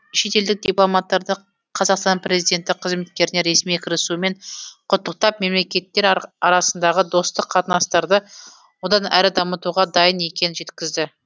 шетелдік дипломаттарды қазақстан президенті қызметтеріне ресми кірісуімен құттықтап мемлекеттер арасындағы достық қатынастарды одан әрі дамытуға дайын екенін жеткізді